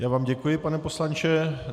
Já vám děkuji, pane poslanče.